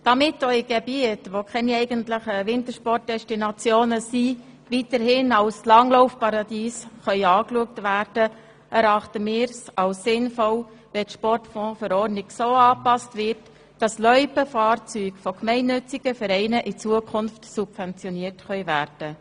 Damit auch Gebiete, welche keine eigentlichen Wintersportdestinationen sind, weiterhin als Langlaufparadiese angeschaut werden können, erachten wir es als sinnvoll, wenn die Sportfondsverordnung so angepasst wird, dass Loipenfahrzeuge von gemeinnützigen Vereinen in Zukunft subventioniert werden können.